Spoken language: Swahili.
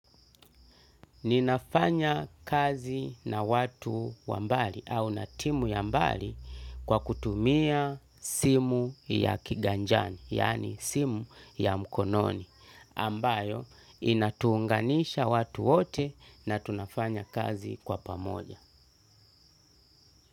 Ninafanya kazi na watu wa mbali au natimu ya mbali kwa kutumia simu ya kiganjani, yani simu ya mkononi, ambayo inatuunganisha watu wote na tunafanya kazi kwa pamoja.